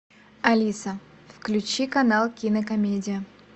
алиса включи канал кинокомедия